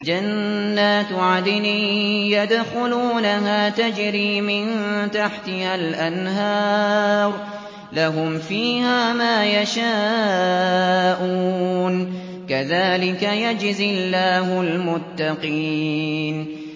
جَنَّاتُ عَدْنٍ يَدْخُلُونَهَا تَجْرِي مِن تَحْتِهَا الْأَنْهَارُ ۖ لَهُمْ فِيهَا مَا يَشَاءُونَ ۚ كَذَٰلِكَ يَجْزِي اللَّهُ الْمُتَّقِينَ